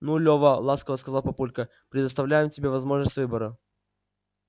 ну лёва ласково сказал папулька предоставляем тебе возможность выбора